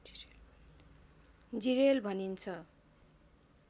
जिरेल भनिन्छ